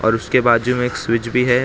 और उसके बाजू में एक स्विच भी है --